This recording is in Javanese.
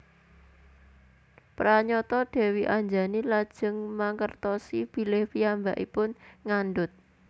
Pranyata Dèwi Anjani lajeng mangertosi bilih piyambakipun ngandhut